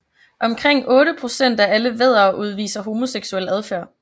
Omkring 8 procent af alle væddere udviser homoseksuel adfærd